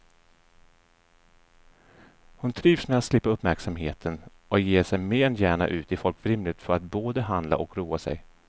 Hon trivs med att slippa uppmärksamheten och ger sig mer än gärna ut i folkvimlet för att både handla och roa sig.